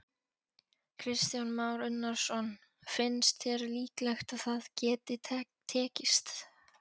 Kristján Már Unnarsson: Finnst þér líklegt að það geti tekist?